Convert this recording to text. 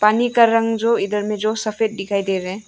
पानी का रंग जो इधर में जो सफेद दिखाई दे रहे हैं।